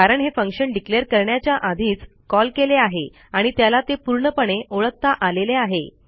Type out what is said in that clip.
कारण हे फंक्शन declareकरण्याच्या आधीच कॉल केले आहे आणि त्याला ते पूर्णपणे ओळखता आलेले आहे